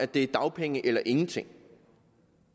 det er dagpenge eller ingenting